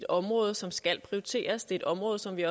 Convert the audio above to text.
område som skal prioriteres det er et område som vi